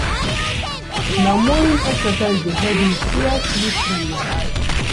Na morning exercise dey help me clear sleep from my eyes.